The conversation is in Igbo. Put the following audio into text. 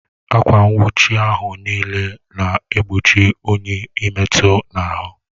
Akwa nwuchi ahụ n'ile na egbochi unyi ị metu n'ahụ